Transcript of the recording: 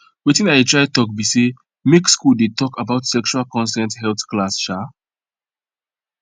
watin i dey try talk be say make school dey talk about sexual consent health class um